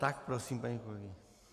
Tak prosím, paní kolegyně.